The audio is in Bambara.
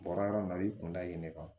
Bɔra yɔrɔ min na a b'i kun da yen ne kan